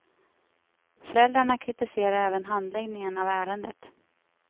Föräldrarna kritiserar även handläggningen av ärendet.